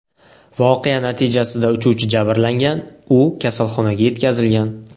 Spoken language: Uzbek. Voqea natijasida uchuvchi jabrlangan, u kasalxonaga yetkazilgan.